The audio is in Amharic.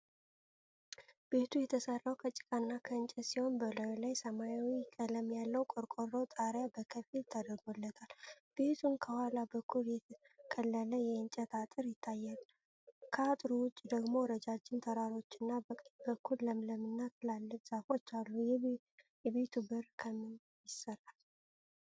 ቤቱ የተሰራው ከጭቃና ከእንጨት ሲሆን በላዩ ላይ ሰማያዊ ቀለም ያለው ቆርቆሮ ጣሪያ በከፊል ተደርጎለታል። ቤቱን ከኋላ በኩል የተከለለ የእንጨት አጥር ይታያል፣ ከአጥሩ ውጭ ደግሞ ረጃጅም ተራሮችናበቀኝ በኩል ለምለምና ትላልቅ ዛፎች አሉ። የቤቱ በር ከምን ይሰራል?